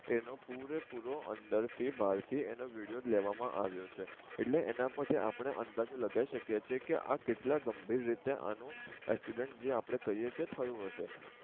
એનો પૂરેપૂરો અંદર થી બાર થી એનો વિડિયો લેવા માં આવિયો છે એટલે એના પર થી આપડે અંદાજો લગાવી સકીએ છે કે આ કેટલા ગંભીર રીતે આનું એક્સિડેન્ટ જે આપડે કહીએ છીએ થયું હસે